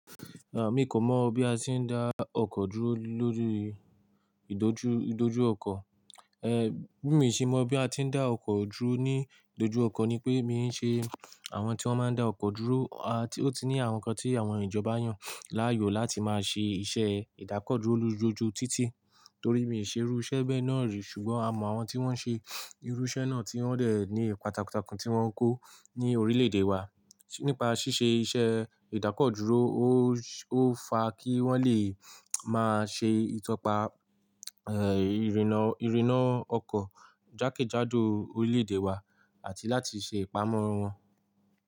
Rárá, mi kò mọ̀ bí a ti ń dá ọkọ̀ dúró lórí ìdójú, ìdójú ọkọ̀. Bí mi o se mọ bí a ti ń dá ọkọ̀ dúró ní ìdójú ọkọ̀ ni pé mi n ṣe àwọn tí wọ́n máa ń dá ọkọ̀ dúró, tí ó ní àwọn nǹkan tí àwọn ìjọba yàn láàyò láti máa ṣe iṣẹ́ ìdákọ̀ dúró lójoojú títì. Torí mi ò ṣe irú iṣẹ́ bẹ́ẹ̀ náà rí ṣùgbọ́n a mọ àwọn tí wọ́n ṣe irú iṣẹ́ náà tí wọ́n dẹ̀ ní ipa takuntakun tí wọ́n ń kó ní orílẹ̀-èdè wa. Nípa ṣíṣe iṣẹ́ ìdákọ̀ dúró ó ó fa kí wọ́n lè máa ṣe ìtọpa ìrìnnà, ìrìnnà ọkọ̀ jákèjádò orílẹ̀-èdè wa àti láti ṣe ìpamọ́ wọn.